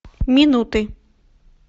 минуты